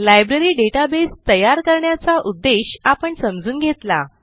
library databaseतयार करण्याचा उद्देश आपण समजून घेतला